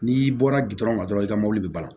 N'i bɔra na dɔrɔn i ka mɔbili bali